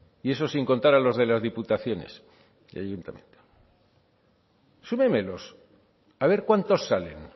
y eso sin contar a los de las diputaciones y ayuntamiento súmemelos a ver cuántos salen